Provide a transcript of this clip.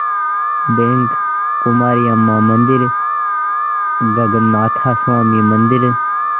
bank Kumari Amman मंदिर गगनाथा स्वामी मंदिर